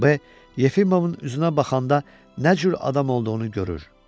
B Yefimovun üzünə baxanda nə cür adam olduğunu görür.